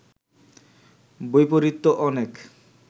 বৈপরীত্য অনেক